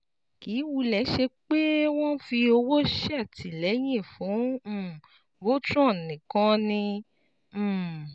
Kì í wulẹ̀ ṣe pé wọ́n ń fi owó ṣètìlẹ́yìn fún um Voltron nìkan ni um